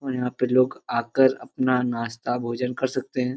और यहां पे लोग आकर अपना नाश्ता भोजन कर सकते हैं ।